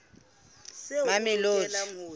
mamelodi